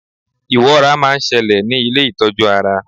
iwọ́ra ma n ṣẹlẹ ní ilé itọju ara